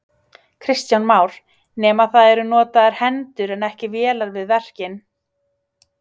Kristján Már: Nema það eru notaðar hendur en ekki vélar við verkin?